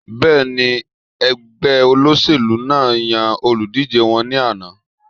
Bẹ́ẹ̀ni, ẹgbẹ́ olóṣèlú náà yan olùdíjé wọn ní àná